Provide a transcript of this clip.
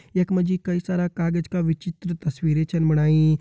यख मा जी कई सारा कागज की विचित्र तस्वीर छिन बणाई।